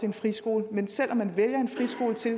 en friskole men selv om man vælger en friskole til